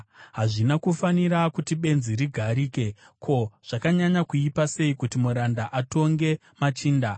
Hazvina kufanira kuti benzi rigarike, ko, zvakanyanya kuipa sei kuti muranda atonge machinda!